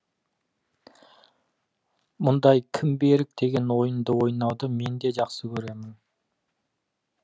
мұндай кім берік деген ойынды ойнауды мен де жақсы көремін